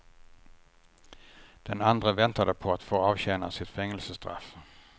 Den andre väntade på att få avtjäna sitt fängelsestraff.